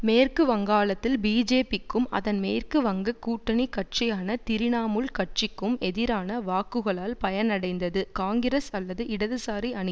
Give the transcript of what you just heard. மேற்கு வங்காளத்தில் பிஜேபிக்கும் அதன் மேற்கு வங்க கூட்டணி கட்சியான திரிணாமுல் கட்சிக்கும் எதிரான வாக்குகளால் பயனடைந்தது காங்கிரஸ் அல்லது இடதுசாரி அணி